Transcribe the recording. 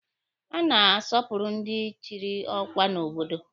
A na-asọpụrụ ndị echiri ọkwa n'obodo.